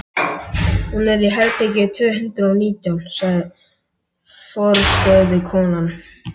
Hún er í herbergi tvö hundruð og nítján, sagði forstöðukonan.